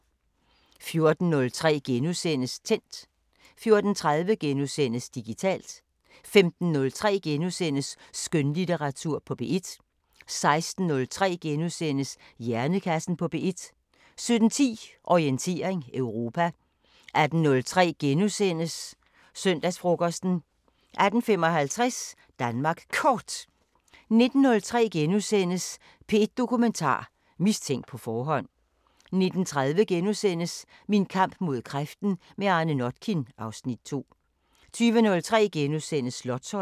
14:03: Tændt * 14:30: Digitalt * 15:03: Skønlitteratur på P1 * 16:03: Hjernekassen på P1 * 17:10: Orientering Europa 18:03: Søndagsfrokosten * 18:55: Danmark Kort 19:03: P1 Dokumentar: Mistænkt på forhånd * 19:30: Min kamp mod kræften – med Arne Notkin (Afs. 2)* 20:03: Slotsholmen *